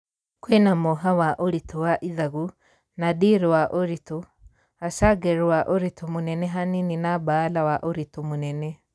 Kwĩna moha wa ũritũ wa ithagu , nadir wa ũritũ...., assaghir wa ũritũ mũnene hanini na baala wa ũrĩtũ mũnene.